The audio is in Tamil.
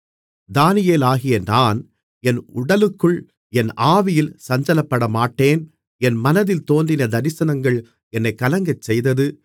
தானியேலாகிய நான் என் உடலுக்குள் என் ஆவியிலே சஞ்சலப்படமாட்டேன் என் மனதில் தோன்றின தரிசனங்கள் என்னைக் கலங்கச்செய்தது